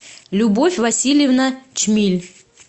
любовь васильевна чмиль